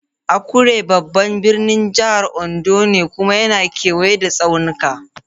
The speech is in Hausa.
Akure babban birnin jihar Ondo ne kuma yana kewaye da tsaunuka.